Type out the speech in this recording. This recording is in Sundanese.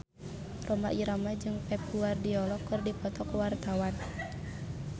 Rhoma Irama jeung Pep Guardiola keur dipoto ku wartawan